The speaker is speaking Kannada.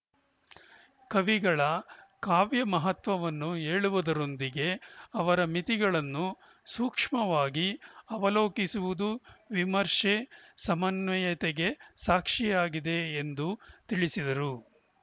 ಕವಿಗಳ ಕಾವ್ಯ ಮಹತ್ವವನ್ನು ಹೇಳುವುದರೊಂದಿಗೆ ಅವರ ಮಿತಿಗಳನ್ನು ಸೂಕ್ಷ್ಮವಾಗಿ ಅವಲೋಕಿಸಿರುವುದು ವಿಮರ್ಶೆ ಸಮನ್ವಯತೆಗೆ ಸಾಕ್ಷಿಯಾಗಿದೆ ಎಂದು ತಿಳಿಸಿದರು